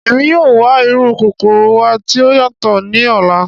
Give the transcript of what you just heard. Emi yoo wa iru kokoro wa ti o yatọ ni ọla.